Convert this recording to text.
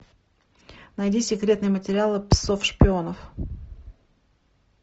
найди секретные материалы псов шпионов